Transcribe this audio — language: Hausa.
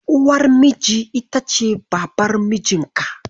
Uwar miji ita ce Babar mijinka.